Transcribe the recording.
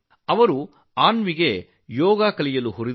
ಅವರು ಅನ್ವಿಗೆ ಯೋಗ ಕಲಿಯಲು ಪ್ರೇರೇಪಿಸಿದರು